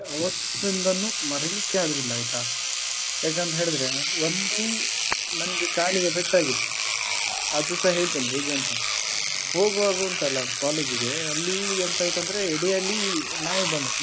ಅವತ್ತಿಂದನ್ನು ಮರಿಲಿಕ್ಕೆ ಆಗುದಿಲ್ಲ ಆಯ್ತಾ ಯಾಕಂತ ಹೇಳಿದ್ರೆ ಒಂದು ನನಿಗೆ ಕಾಲಿಗೆ ಪೆಟ್ಟಾಗಿತ್ತು ಅದುಸ ಹೇಳ್ತೇನೆ ಹೇಗೆ ಅಂತ ಹೋಗುವಾಗ ಉಂಟಲ್ಲ college ಗೆ ಅಲ್ಲಿ ಎಂತಾಯ್ತು ಅಂದ್ರೆ ಎಡೆಯಲ್ಲಿ ನಾಯಿ ಬಂದದ್ದು.